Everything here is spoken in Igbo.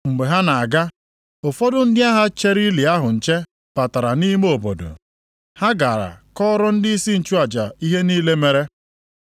Mgbe ha na-aga, ụfọdụ ndị agha chere ili ahụ nche batara nʼime obodo. Ha gara kọọrọ ndịisi nchụaja ihe niile mere.